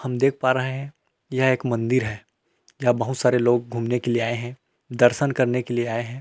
हम देख पा रहे है यह एक मंदिर है जहां बहुत सारे लोग घूमने के लिए आए है दर्शन करने के लिए आए है।